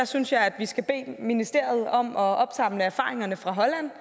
synes jeg vi skal bede ministeriet om at opsamle erfaringerne fra holland